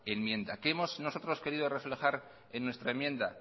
enmienda que hemos nosotros querido reflejar en nuestra enmienda